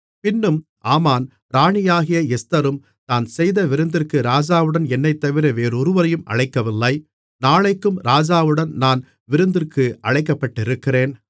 பின்னும் ஆமான் ராணியாகிய எஸ்தரும் தான் செய்த விருந்திற்கு ராஜாவுடன் என்னைத்தவிர வேறொருவரையும் அழைக்கவில்லை நாளைக்கும் ராஜாவுடன் நான் விருந்திற்கு அழைக்கப்பட்டிருக்கிறேன்